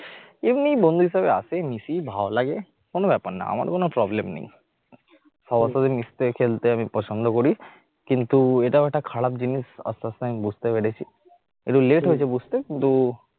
এমনি বন্ধু হিসাবে আসে মিশি ভালো লাগে কোন ব্যাপার না আমার কোন problem নেই, সবার সাথে মিশতে খেলতে আমি পছন্দ করি কিন্তু এটাও একটা খারাপ জিনিস আস্তে আস্তে আমি বুঝতে পেরেছি একটু late হয়েছে বুঝতে কিন্তু